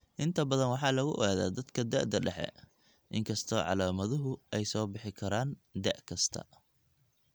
Inta badan waxaa lagu ogaadaa dadka da'da dhexe, inkastoo calaamaduhu ay soo bixi karaan da 'kasta.